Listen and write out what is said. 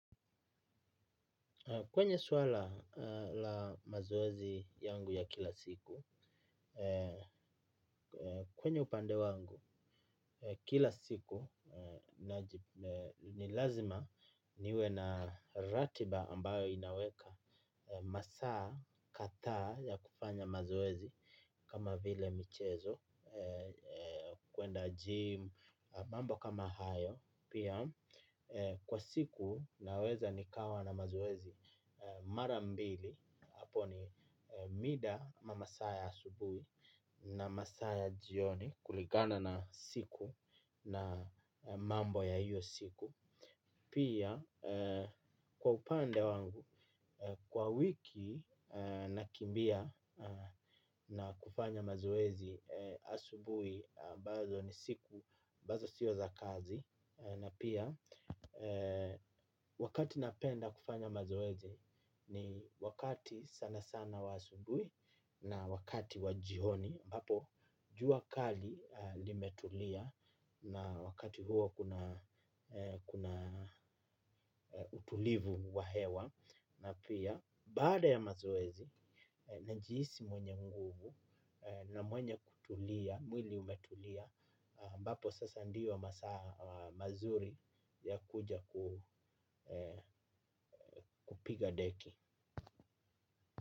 Kwenye swala la mazoezi yangu ya kila siku, kwenye upande wangu, kila siku ni lazima niwe na ratiba ambayo inaweka masaa kathaa ya kufanya mazoezi kama vile michezo, kuenda jim, mambo kama hayo. Pia kwa siku naweza nikawa na mazoezi mara mbili hapo ni mida ama masaa ya asubui na masaa ya jioni kuligana na siku na mambo ya hiyo siku. Pia kwa upande wangu kwa wiki nakimbia na kufanya mazoezi asubuhi ambazo ni siku ambazo sio za kazi. Na pia wakati napenda kufanya mazoezi ni wakati sana sana wa asubui na wakati wa jihoni ambapo jua kali limetulia na wakati huo kuna utulivu wa hewa na pia baada ya mazoezi najihisi mwenye nguvu na mwenye kutulia mwili umetulia ambapo sasa ndio masaa mazuri ya kuja kupiga deki.